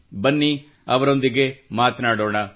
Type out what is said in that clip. ಬನ್ನಿ ಅವರೊಂದಿಗೆ ಮಾತನಾಡೋಣ